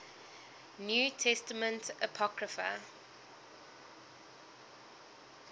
new testament apocrypha